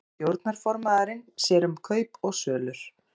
Stjórnarformaðurinn sér um kaup og sölur